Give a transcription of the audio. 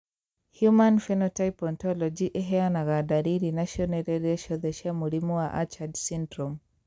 Human Phenotype Ontology ĩheanaga ndariri na cionereria ciothe cia mũrimũ wa Achard syndrome?